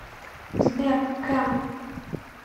сбер кэм